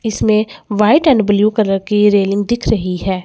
इसमें white and blue colour की railing दिख रही है।